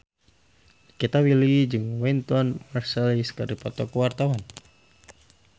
Nikita Willy jeung Wynton Marsalis keur dipoto ku wartawan